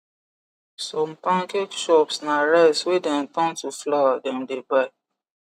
some pancake shops na rice wey dem turn to flour them the buy